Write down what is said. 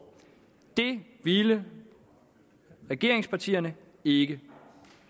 det ville regeringspartierne ikke